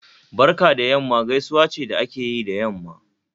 Barka da yamma gaisuwa ce da akeyi da yamma